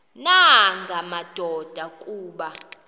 nanga madoda kuba